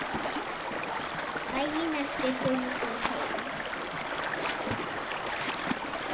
Daginn eftir fóru þau heim.